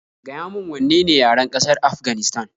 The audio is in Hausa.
Gaya min wanne ne yaren ƙasar Afganistan